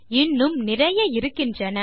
இன்னும் நிறைய இருக்கின்றன